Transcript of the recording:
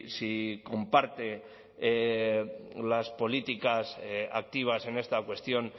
si comparte las políticas activas en esta cuestión